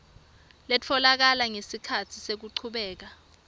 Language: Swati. letfolakele ngesikhatsi sekuchubeka